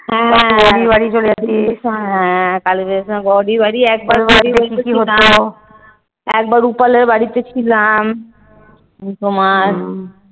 হ্যাঁ কালীপুজোর সময় গৌরির বাড়ি একবার একবার রুপালের বাড়িতে ছিলাম। তোমার